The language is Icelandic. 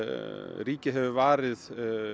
ríkið hefur varið